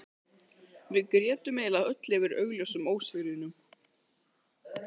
Og við grétum eiginlega öll yfir augljósum ósigrinum.